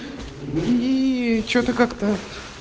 и что-то как-то